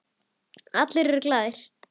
Allir eru glaðir.